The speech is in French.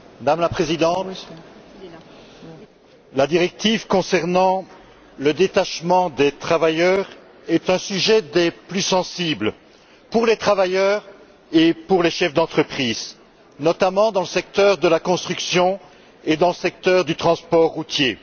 Madame la Présidente, la directive concernant le détachement des travailleurs est un sujet des plus sensibles pour les travailleurs et pour les chefs entreprise, notamment dans les secteurs de la construction et du transport routier.